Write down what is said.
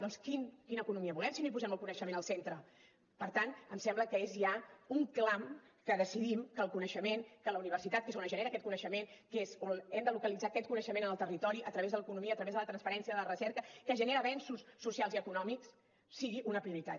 doncs quina economia volem si no hi posem el coneixement al centre per tant em sembla que és ja un clam que decidim que el coneixement que la universitat que és on es genera aquest coneixement que és on hem de localitzar aquest coneixement en el territori a través de l’economia a través de la transferència la recerca que genera avenços socials i econòmics sigui una prioritat